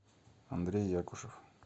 андрей якушев